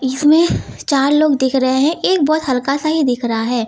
इस में चार लोग दिख रहे हैं एक बहुत हल्का सा ही दिख रहा है।